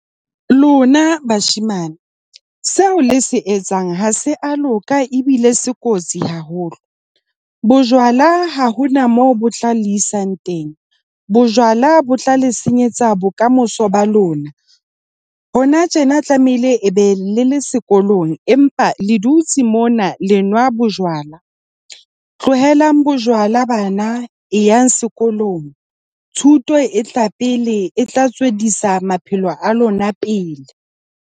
Lona bashemane seo le se etsang ha se a loka ebile se kotsi haholo. Bojwala ha hona moo bo tla le isa teng. Bojwala bo tla le senyetsa bokamoso ba lona. Hona tjena tlamehile e be le le sekolong empa le dutse mona le nwa bojwala. Tlohelang bojwala bana, e yang sekolong. Thuto e tla pele, e tla maphelo a lona pele.